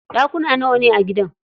Ɗakuna nawane a gidan?